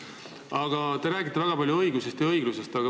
Aga te räägite väga palju õigusest ja õiglusest.